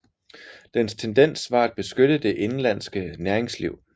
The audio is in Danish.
Dens tendens var at beskytte det indenlandske næringsliv